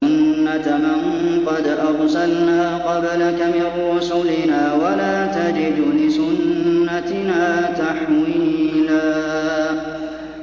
سُنَّةَ مَن قَدْ أَرْسَلْنَا قَبْلَكَ مِن رُّسُلِنَا ۖ وَلَا تَجِدُ لِسُنَّتِنَا تَحْوِيلًا